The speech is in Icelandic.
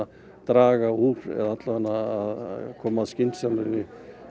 draga úr eða alla vega koma skynsamari